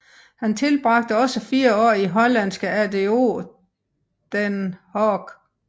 Han tilbragte også fire år i hollandske ADO Den Haag